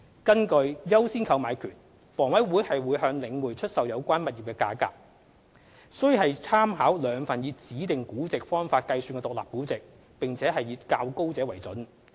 根據"優先購買權"，房委會向領匯出售有關物業的價格，須參考兩份以指定估值方法計算的獨立估值，並以較高者為準。